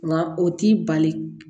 Nka o t'i bali